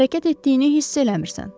Hərəkət etdiyini hiss eləmirsən.